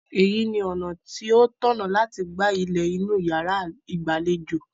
Èyí ni ọ̀nà tí ó tọ̀nà láti gba ilẹ̀ inú yàrá ìgbàlejò.